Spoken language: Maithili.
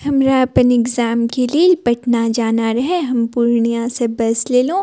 हमरा अपना एग्जाम के लेल पटना जाना रहे हम पूर्णिया से बस लेलो --